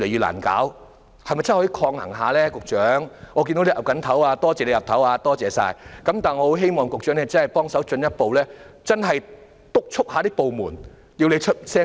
我看到局長現時正在點頭，多謝他點頭，但我希望他可以進一步督促部門加快程序。